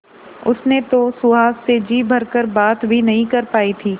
उसने तो सुहास से जी भर कर बात भी नहीं कर पाई थी